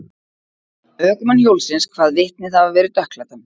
Ökumann hjólsins kvað vitnið hafa verið dökkklæddan.